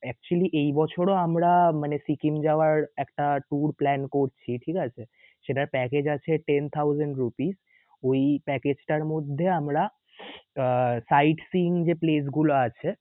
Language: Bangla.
actually এই বছরও আমরা মানে সিকিম যাওয়ার একটা tour plan করছি, ঠিক আছে? সেটার package আছে Ten Thousand Rupee ওই package টার মধ্যে আমরা আহ side seeing যে place গুলো আছে